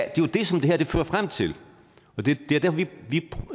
er jo det som det her fører frem til og det